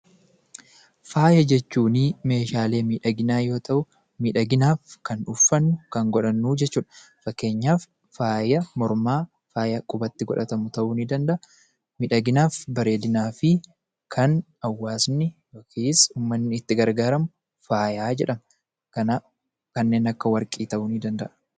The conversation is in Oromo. Faaya jechuuni meeshaalee miidhaginaa yommuu ta'u, miidhaginaaf kan uffatnu, kan godhannu jechuudha. Fakkeenyaaf faaya mormaa, faaya qubatti godhatamu ta'uu ni danda'a. Miidhaginaaf bareedinaa fi kan hawwaasni yookiis uummatni itti gargaaramu faayaa jedhamu. Kanaaf kanneen akka warqii ta'uu ni danda'a.